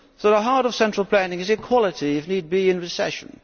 So the heart of central planning is equality, if need be in recession.